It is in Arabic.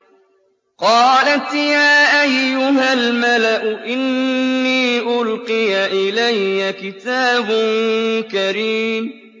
قَالَتْ يَا أَيُّهَا الْمَلَأُ إِنِّي أُلْقِيَ إِلَيَّ كِتَابٌ كَرِيمٌ